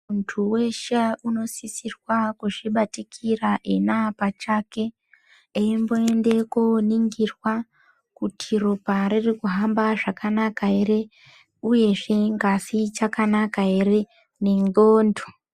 Muntu weshe unosisirwa kuzvibatikira ena pachake, eimboenda kooningirwa kuti ropa ririkuhamba zvakanaka ere?, uyezvee ngazi ichakanaka ere? nendxondo.